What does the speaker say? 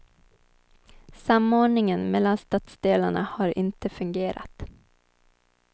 Samordningen mellan stadsdelarna har inte fungerat.